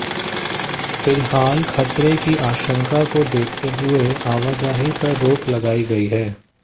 फिलहाल खतरे की आशंका को देखते हुए आवाजाही पर रोक लगाई गई है